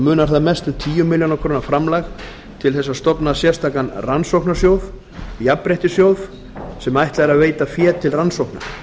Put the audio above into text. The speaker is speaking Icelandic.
munar þar mest um tíu milljónir króna framlag til þess að stofna sérstakan rannsóknasjóð jafnréttissjóð sem ætlað er að veita fé til rannsókna